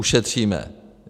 Ušetříme.